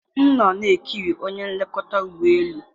m nọ na-ekiri onye nlekọta ụgbọ elu.